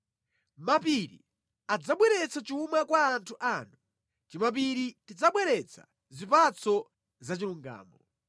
Mapiri adzabweretsa chuma kwa anthu anu, timapiri tidzabweretsa zipatso zachilungamo.